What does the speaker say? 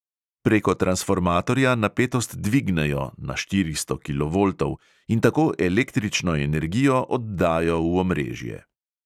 Preko transformatorja napetost dvignejo (na štiristo kilovoltov) in tako električno energijo oddajo v omrežje.